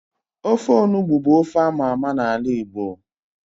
Ofe onugbu bu ofe ámá ámá na ala Igbo